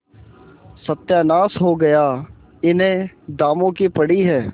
सत्यानाश हो गया इन्हें दामों की पड़ी है